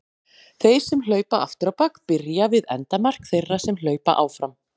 Þeir sem hlaupa aftur á bak byrja við endamark þeirra sem hlaupa áfram.